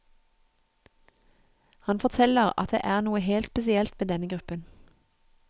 Han forteller at det er noe helt spesielt med denne gruppen.